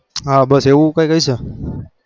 હ બસ એવું કઈ